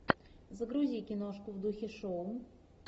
загрузи киношку в духе шоу